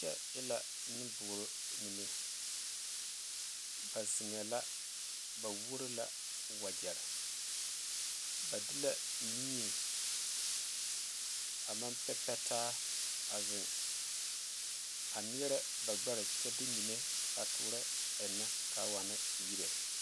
Kyɛ e la nenboora mine ba zeŋɛɛ la ba wuoro la wagyɛre ba de la mie a maŋ pɛ pɛ taa a zeŋ a neɛrɛ ba gbɛre kyɛ de mine a toorɔ eŋnɛ k,a waana yire.